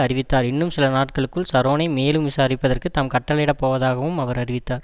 அறிவித்தார் இன்னும் சில நாட்களுக்குள் ஷரோனை மேலும் விசாரிப்பதற்கு தாம் கட்டளையிடப் போவதாகவும் அவர் அறிவித்தார்